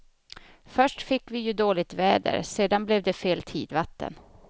Först fick vi ju dåligt väder, sedan blev det fel tidvatten.